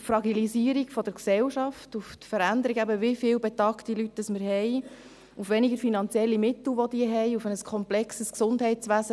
auf die Fragilisierung der Gesellschaft, auf die Veränderungen – wie viele betagte Menschen wir haben –, auf die weniger finanziellen Mittel, die sie haben, auf ein komplexes Gesundheitswesen: